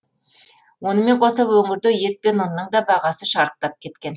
онымен қоса өңірде ет пен ұнның да бағасы шарықтап кеткен